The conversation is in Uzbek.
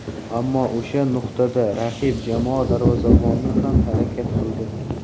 Ammo o‘sha nuqtada raqib jamoa darvozaboni ham harakat qildi.